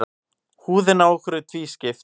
Húðin á okkur er tvískipt.